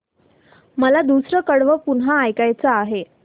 मला दुसरं कडवं पुन्हा ऐकायचं आहे